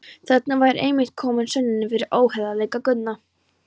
Þarna væri einmitt komin sönnunin fyrir óheiðarleika Guðna.